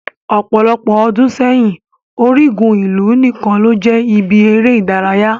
Ọpọlọpọ ọ́dùn seyin, origun ilu nikan lo jẹ ibi ere idaraya